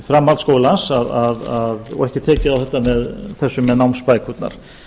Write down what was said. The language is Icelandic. framhaldsskólans og ekki tekið á þessu með námsbækurnar